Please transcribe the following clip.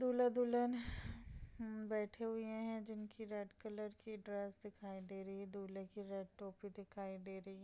दूल्हा-दुल्हन बैठे हुए हैं जिनकी रेड कलर की ड्रेस दिखाई दे रही है दुल्हे की रेड टोपी दिखाई दे रही है।